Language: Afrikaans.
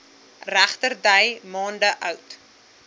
regterdy maande oud